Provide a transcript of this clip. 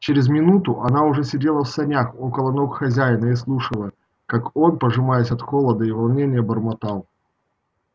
через минуту она уже сидела в санях около ног хозяина и слушала ка он пожимаясь от холода и волнения бормотал